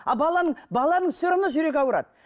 а баланың баланың все равно жүрегі ауырады